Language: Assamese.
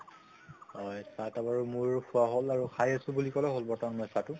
হয় চাহ তাহ বাৰু মোৰ খোৱা হʼল আৰু খাই আছো বুলি কলে বৰ্তমান মই চাহটো